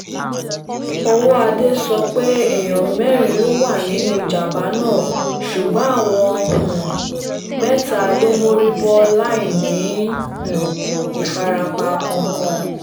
ọwọ́adé sọ pé èèyàn mẹ́rin ló wà nínú ìjàm̀bá náà ṣùgbọ́n àwọn um mẹ́ta ló mórí bọ́ láì ní um ìfarapa kankan